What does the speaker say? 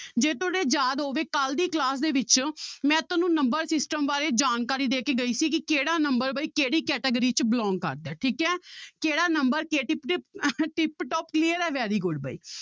ਜੇ ਤੁਹਾਡੇ ਯਾਦ ਹੋਵੇ ਕੱਲ੍ਹ ਦੀ class ਦੇ ਵਿੱਚ ਮੈਂ ਤੁਹਾਨੂੰ number system ਬਾਰੇ ਜਾਣਕਾਰੀ ਦੇ ਕੇ ਗਈ ਸੀ ਕਿ ਕਿਹੜਾ number ਵੀ ਕਿਹੜੀ category 'ਚ belong ਕਰਦਾ ਠੀਕ ਹੈ ਕਿਹੜਾ number tip-top clear ਹੈ very good ਬਾਈ